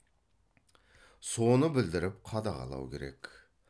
соны білдіріп қадағалау керек